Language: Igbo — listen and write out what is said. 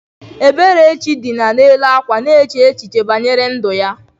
Eberechi dina n’elu akwa na-eche echiche banyere ndu ya.